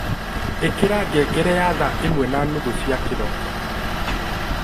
ikira ngengere ya thaa ĩmwe na nuthu cia kĩroko